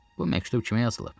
Bu məktub kimə yazılıb?